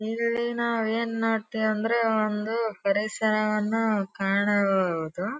ನೀರಲ್ಲಿ ನಾವು ಏನ್ ನೋಡ್ತೇವೆ ಅಂದ್ರೆ ಒಂದು ಪರಿಸರವನ್ನು ಕಾಣಬಹುದು.